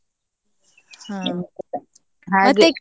ಹಾ.